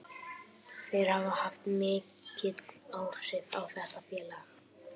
Þeir hafa haft mikil áhrif á þetta félag.